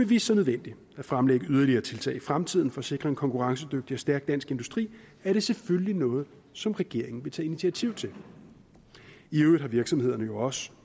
vise sig nødvendigt at fremlægge yderligere tiltag i fremtiden for at sikre en konkurrencedygtig og stærk dansk industri er det selvfølgelig noget som regeringen vil tage initiativ til i øvrigt har virksomhederne jo også